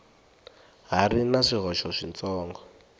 ha ri na swihoxo switsongo